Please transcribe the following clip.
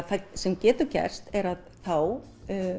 það sem getur gerst er að þá